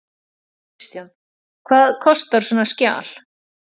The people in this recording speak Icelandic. Kristján: Og hvað kostar svona skjal?